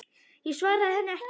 Ég svaraði henni ekki.